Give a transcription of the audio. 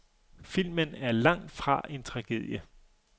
Filmen er langt fra en tragedie.